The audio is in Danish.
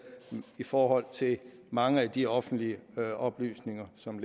i forhold til mange af de offentlige oplysninger som